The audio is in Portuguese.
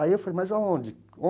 Aí eu falei, mas aonde?